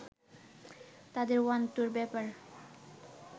তাদের ওয়ান-টুর ব্যাপার